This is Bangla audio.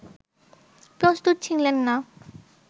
প্রস্তুত ছিলেন না